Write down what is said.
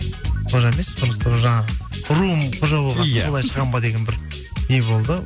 қожа емес просто жаңағы руым қожа болған соң солай шығамын ба деген бір не болды